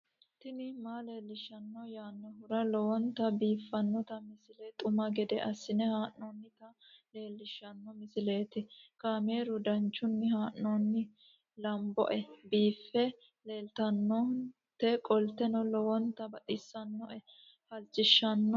tini maa leelishshanno yaannohura lowonta biiffanota misile xuma gede assine haa'noonnita leellishshanno misileeti kaameru danchunni haa'noonni lamboe biiffe leeeltannoqolten lowonta baxissannoe halchishshanno yaate